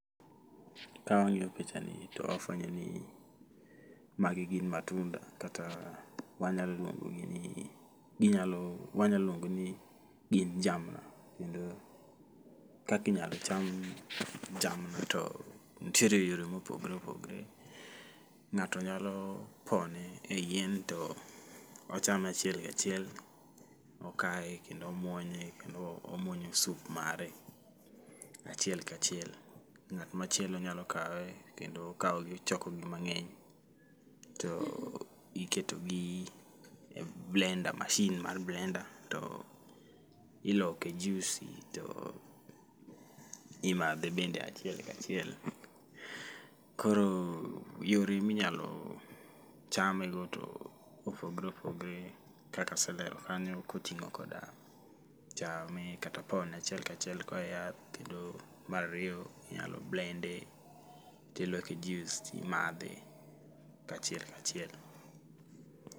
Ka wang'iyo picha ni to wafwenyo ni magi gin matunda, kata wanya luongo gi ni, ginyalo wanya luongo gi ni gin jamna. Kendo kakinyalo cham jamna to ntiere yore mopogre opogre. Ng'ato nyalo pone e yien to ochame achielm kachiel, okaye kendo omuonye kendo omuonyo sup mare achiel kachiel. Ng'at machielo nyalo kawe kendo okawogi ochokogi mang'eny to iketogi e blender, machine mar blender to iloke juisi to imadhe bende achiel kachiel. Koro yore minyalo chame go to opogre opogre kaka aselero kanyo koting'o koda chame kata pone achiel kachiel koa e yath. Kendo marariyo inyalo blend e tiloke jius timadhe achiel kachiel.